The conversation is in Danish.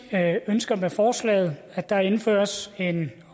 ønsker med forslaget at der indføres en